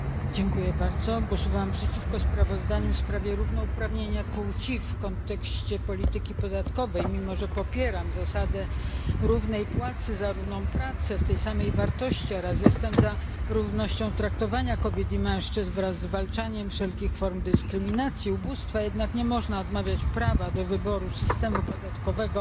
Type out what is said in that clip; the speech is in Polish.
Panie Przewodniczący! Głosowałam przeciwko sprawozdaniu. w sprawie równouprawnienia płci w kontekście polityki podatkowej, mimo że popieram zasadę równej płacy za równą pracę w tej samej wartości oraz jestem za równością traktowania kobiet i mężczyzn wraz ze zwalczaniem wszelkich form dyskryminacji, ubóstwa, jednak nie można odmawiać prawa do wyboru systemu podatkowego